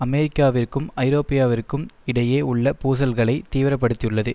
அமெரிக்காவிற்கும் ஐரோப்பியாவிற்கும் இடையே உள்ள பூசல்களை தீவிர படுத்தியுள்ளது